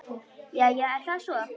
Jæja, er það svo?